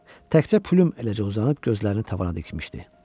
Təkcə Plüm eləcə uzanıb gözlərini tavana dikmişdi.